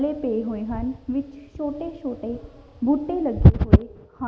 ਲੇ ਪਏ ਹੋਏ ਹਨ ਵਿੱਚ ਛੋਟੇ ਛੋਟੇ ਬੂਟੇ ਲੱਗੇ ਹੋਏ ਹਨ।